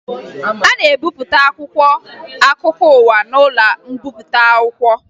A na-ebipụta akwụkwọ akụkọ ụwa n'ụlọ mbipụta akwụkwọ